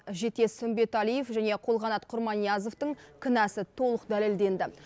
жетес үмбеталиев және қолқанат құрманиязовтың кінәсі толық дәлелденді